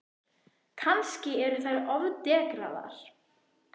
Kannski eru þær ofdekraðar?